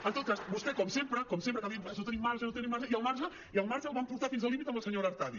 en tot cas vostè com sempre com sempre acaba dient no tenim marge no tenim marge i el marge el van portar fins al límit amb la senyora artadi